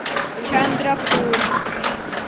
чандрапур